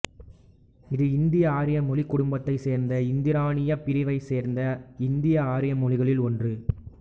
இது இந்தியஆரிய மொழிக் குடும்பத்தைச் சேர்ந்த இந்தியஈரானியப் பிரிவைச் சேர்ந்த இந்தியஆரிய மொழிகளுள் ஒன்று